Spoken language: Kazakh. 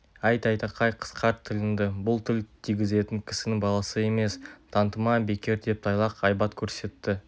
әй тайтақай қысқарт тіліңді бұл тіл тигізетін кісінің баласы емес тантыма бекер деп тайлақ айбат көрсетті